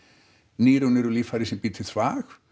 nýrun eru líffæri sem býr til þvag